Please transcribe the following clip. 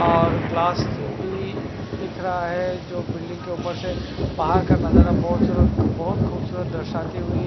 और ग्लास भी दिख रहा है जो बिल्डिंग की ऊपर से बहार का नजारा बहत सूरत बहत खूबसूरत दर्शाती हुई।